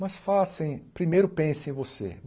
Mas façam, primeiro pensem em você.